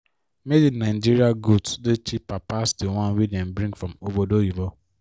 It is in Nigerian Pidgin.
made in nigeria goods dey cheper pass di one wey dem bring from obodoyinbo.